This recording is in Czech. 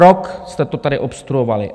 Rok jste to tady obstruovali.